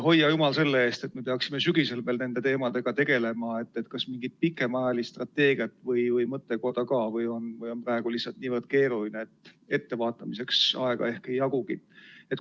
Hoidku jumal selle eest, et me peaksime sügisel endiselt nende teemadega tegelema, aga kas mingit pikemaajalist strateegiat arutav mõttekoda ka toimub või on praegu nii keeruline seis, et ettevaatamiseks aega ei jagugi?